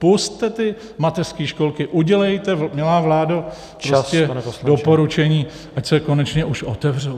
Pusťte ty mateřské školky, udělejte, milá vládo, prostě doporučení, ať se konečně už otevřou.